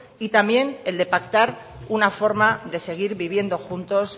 y también el de pactar una forma de seguir viviendo juntos